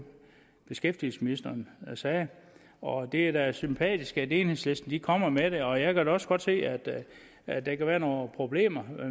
beskæftigelsesministeren sagde og det er da sympatisk at enhedslisten kommer med det og jeg kan da også godt se at der kan være nogle problemer